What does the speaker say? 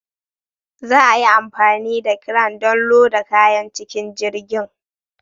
Za a yi amfani da cran don loda kayan cikin jirgin.